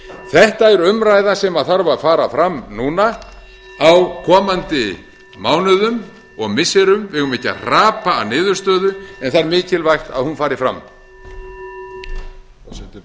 þetta er umræða sem þarf að fara fram núna á komandi mánuðum og missirum við eigum ekki að hrapa að niðurstöðu en það er mikilvægt að hún fari fram